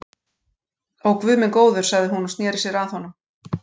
Ó, guð minn góður sagði hún og sneri sér að honum.